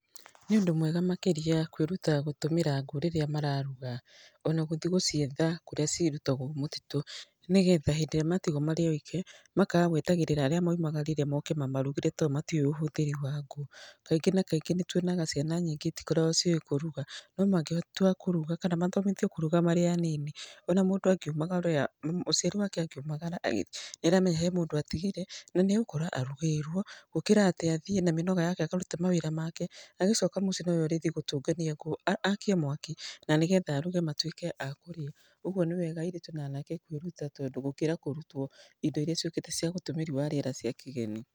Nĩ ũndũ mwega makĩria kwĩruta gũtũmĩra ngũ rĩrĩa mararuga. Ona gũthi gũcietha kũrĩa cirutagwo mũtitũ. Nĩgetha hĩndĩ ĩrĩa matigwo marĩ oike, makaga gwetagĩrĩra arĩa maumagarire moke mamarugĩre to o matiũĩ ũhũthĩri wa ngũ. Kaingĩ na kaingĩ nĩ tuonaga ciana nyingĩ itikoragwo ciĩ kũruga. No na mangĩtua kũruga kana mathomithio kũruga marĩ anini. Ona mũndũ angiumagara, mũciari wake angiumagara nĩ aramenya he mũndũ atigire, na nĩ agũkora arugĩirwo. Gũkĩra atĩ athiĩ na mĩnoga yake akarute mawĩra make agĩcoka mũciĩ no we ũrĩthi gũtũngania ngũ aakie mwaki, na nĩgetha aruge matuĩke a kũrĩa. Ũguo nĩ wega airĩtu na anake kwĩruta gũkĩra kũrutwo indo irĩa ciũkĩte cia ũtũmĩri wa rĩera cia kĩgeni.